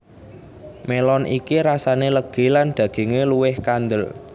Melon iki rasane legi lan daginge luwih kandel